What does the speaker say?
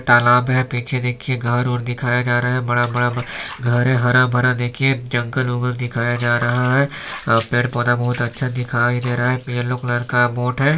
तालाब है पीछे देखिये घर उर दिखाया जा रहा है बड़ा - बड़ा घर है हरा - भरा देखिये जंगल - वंगल दिखाया जा रहा है अ पेड़ - पौधा बहोत अच्छा दिखाई दे रहा है येल्लो कलर का बोट हैं।